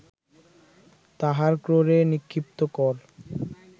তাহার ক্রোড়ে নিক্ষিপ্ত কর